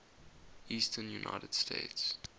eastern united states